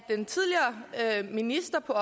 den tidligere minister på